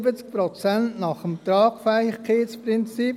70 Prozent nach dem Tragfähigkeitsprinzip.